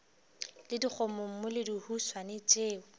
le dikgomommuu le dihuswane tšeo